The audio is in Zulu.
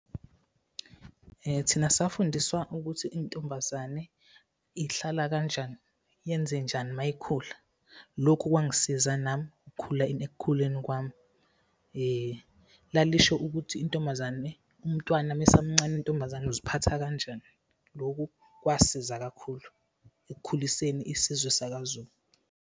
Thina safundiswa ukuthi intombazane ihlala kanjani, yenze njani uma ikhula. Lokhu kwangisiza nami ekukhuleni kwami. Lalisho ukuthi intombazane, umntwana uma esamncane wentombazane, uziphatha kanjani? Loku kwasiza kakhulu ekukhuliseni isizwe sakaZulu.